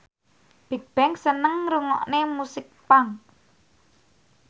Bigbang seneng ngrungokne musik punk